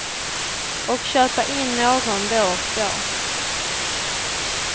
Och köpa in någon då och då.